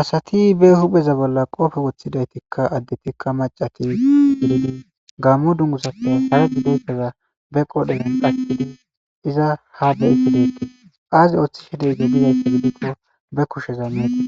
Asati be hubeza bolla qoofe woththidaytikka addetikka macatidi gammo dungusappe harad duitera be qoodhezan pattii iza ha deyiti deetii aazi ooththi hedeyze diyayti gidiqo be kusheza meeti